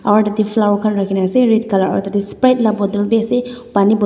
aru tah teh flower khan rakhi na ase red colour aru tah teh sprite lah bottle bhi ase pani bottle --